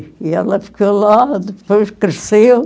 E ela ficou lá, depois cresceu.